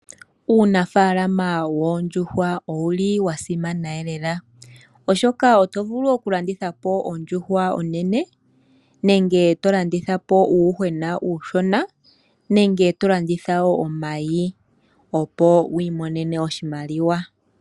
Uunafaalama woondjuhwa owa simana unene , oshoka oto vulu okulandithapo ondjuhwa onene, uuyuhwena nenge omayi opo wu imonene oshimaliwa.